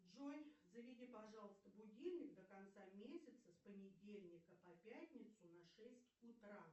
джой заведи пожалуйста будильник до конца месяца с понедельника по пятницу на шесть утра